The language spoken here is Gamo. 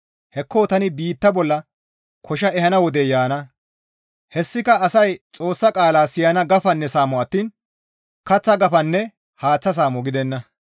Hekko tani biitta bolla kosha ehana wodey yaana; hessika asay Xoossa qaala siyana gafanne saamo attiin kaththa gafanne haaththa saamo gidenna.